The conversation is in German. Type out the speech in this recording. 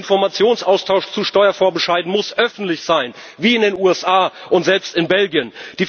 Der Informationsaustausch zu Steuervorbescheiden muss öffentlich sein wie in den USA und selbst in Belgien.